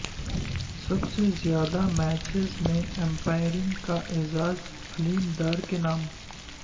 سب سے زیادہ میچز میں امپائرنگ کا اعزاز علیم ڈار کے نام